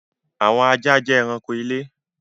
Àwọn ajá jẹ ẹranko ilé.